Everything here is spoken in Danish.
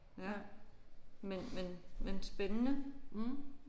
Ja men men men spændende